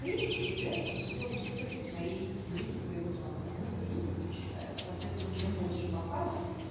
принципе является целевой аудиторией твоей книге твоего жанра они придут и почитают соответственно чем больше показов